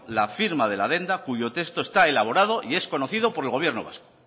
la firma de la adenda cuyo texto está elaborado y es conocido por el gobierno vasco